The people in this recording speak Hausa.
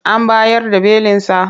An bayar da belinsa?